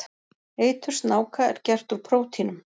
Eitur snáka er gert úr prótínum.